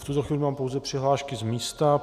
V tuto chvíli mám pouze přihlášky z místa.